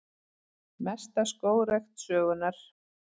Mesta skógrækt sögunnar